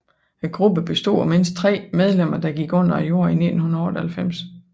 Gruppen bestod af mindst tre medlemmer der gik under jorden i 1998